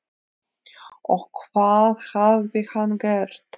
Og hvað hafði hann gert?